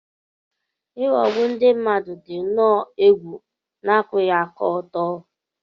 Ịghọgbu ndị mmadụ dị nnọọ egwu na akwụghị aka ọtọ.